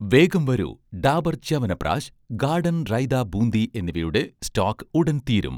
വേഗം വരൂ, 'ഡാബർ' ച്യവൻപ്രാശ്, 'ഗാഡൻ' റൈത ബൂന്തി എന്നിവയുടെ സ്റ്റോക് ഉടൻ തീരും